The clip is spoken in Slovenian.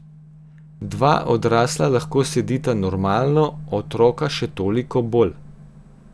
Dva odrasla lahko sedita normalno, otroka še toliko bolj.